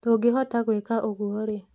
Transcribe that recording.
Tũngĩhota gwĩka ũguo rĩ